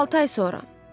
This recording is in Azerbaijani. Altı ay sonra.